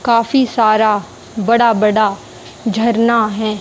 काफी सारा बड़ा बड़ा झरना है।